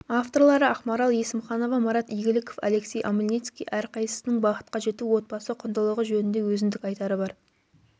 авторлары ақмарал есімханова марат игіліков алексей омельницкий әрқайсысының бақытқа жету отбасы құндылғы жөнінде өзіндік айтары бар